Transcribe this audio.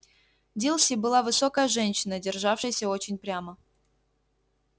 дилси была высокая женщина державшаяся очень прямо